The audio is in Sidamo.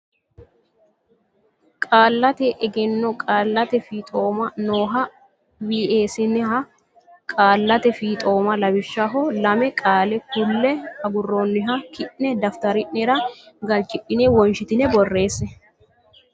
Qaallate Egenno Qaallate Fixoomma nooha weesenniha qaallate fiixooma lawishshaho lame qaale kulle agurroonniha ki ne daftari nera galchidhine wonshitine borreesse.